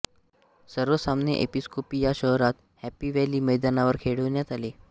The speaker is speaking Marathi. सर्व सामने एपीसकोपी या शहरात हॅपी व्हॅली मैदानावर खेळविण्यात आले